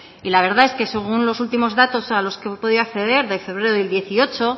y la verdad es que según los últimos datos a los que he podido acceder de febrero del dieciocho